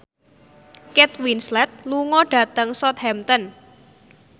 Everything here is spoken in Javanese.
Kate Winslet lunga dhateng Southampton